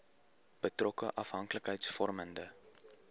betrokke afhanklikheids vormende